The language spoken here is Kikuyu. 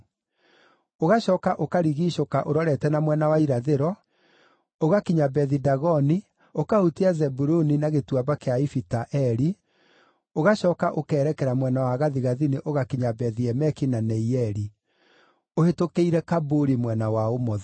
Ũgacooka ũkarigiicũka ũrorete na mwena wa irathĩro, ũgakinya Bethi-Dagoni, ũkahutia Zebuluni na Gĩtuamba kĩa Ifita-Eli, ũgacooka ũkerekera mwena wa gathigathini ũgakinya Bethi-Emeki na Neieli, ũhĩtũkĩire Kabuli mwena wa ũmotho.